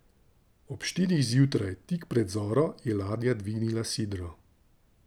Ob štirih zjutraj, tik pred zoro, je ladja dvignila sidro.